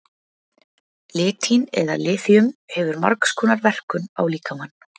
Litín eða litíum hefur margs konar verkun á líkamann.